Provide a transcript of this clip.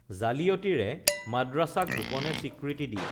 জালিয়তিৰে মাদ্ৰাছাক গোপনে স্বীকৃতি দি